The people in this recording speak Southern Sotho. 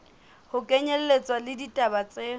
ho kenyelletswa le ditaba tse